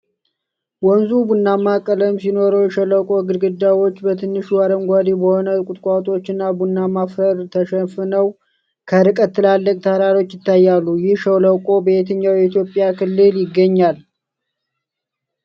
ወንዙ ቡናማ ቀለም ሲኖረው፣ የሸለቆው ግድግዳዎች በትንሹ አረንጓዴ በሆኑ ቁጥቋጦዎች እና ቡናማ አፈር ተሸፍነዋል። ከርቀት ትላልቅ ተራሮች ይታያሉ። ይህ ሸለቆ በየትኛው የኢትዮጵያ ክልል ይገኛል?